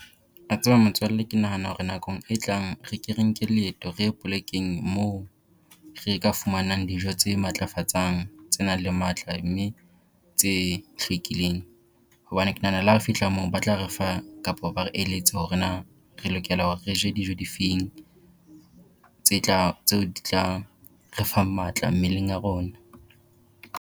A tseba motswalle ke nahana hore nakong e tlang re ke re nke leeto re ye plekeng moo re ka fumanang dijo tse matlafatsang, tse nang le matla mme tse hlwekileng. Hobane ke nahana le ha re fihla moo, ba tla re fa kapo ba re eletse hore na re lokela hore re je dijo difeng, tse tla tseo di tla re fang matla mmeleng a rona.